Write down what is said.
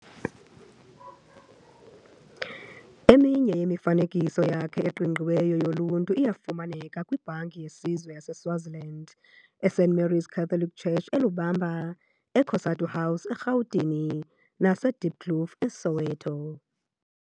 Eminye yemifanekiso yakhe eqingqiweyo yoluntu iyafumaneka kwiBhanki yeSizwe yaseSwaziland, iSt Mary's Catholic Church eLobamba, eCOSATU House, eRhawutini, naseDieploof, eSoweto.